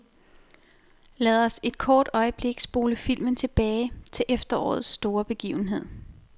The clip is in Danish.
Lad os et kort øjeblik spole filmen tilbage til efterårets store begivenhed.